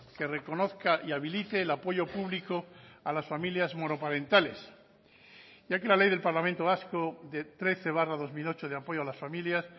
que reconozca y habilite el apoyo público a las familias monoparentales ya que la ley del parlamento vasco de trece barra dos mil ocho de apoyo a las familias